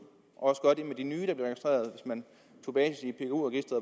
og man